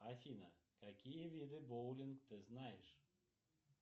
афина какие виды боулинг ты знаешь